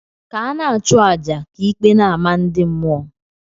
Ka ana achu aja, ka ikpe n' amah ndi mmuo.